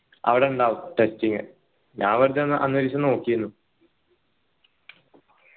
അവിടെ ഇണ്ടാവും testing ഞാൻ വെറുതെ ഏർ അന്നൊരു ദിവസ നോകീനു